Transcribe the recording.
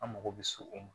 An mago bɛ se o ma